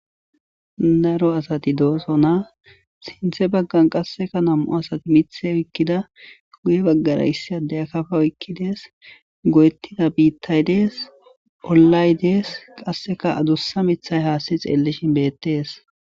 Daro asati dooso na sinthe baggan qasseka nam'u asati mithe oykkida kuuye baggara issi adeya kafa oykkidees go'ettida biittaydees olay dees qasseka adussa mithay haasti xeellishin beettees.